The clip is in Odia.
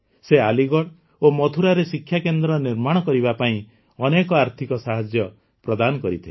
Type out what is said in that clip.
ସେ ଆଲିଗଡ଼ ଓ ମଥୁରାରେ ଶିକ୍ଷାକେନ୍ଦ୍ର ନିର୍ମାଣ କରିବା ପାଇଁ ଅନେକ ଆର୍ଥିକ ସାହାଯ୍ୟ ପ୍ରଦାନ କରିଥିଲେ